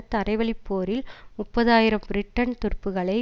தரை வழி போரில் முப்பது ஆயிரம் பிரிட்டன் துருப்புக்களை